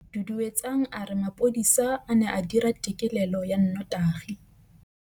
Duduetsang a re mapodisa a ne a dira têkêlêlô ya nnotagi.